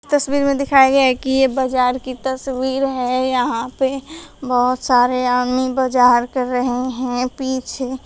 तस्वीर में दिखाया गया है कि ये बाजार की तस्वीर है। यहां पे बहोत सारे आंमी बाजार कर रहे हैं पीछे --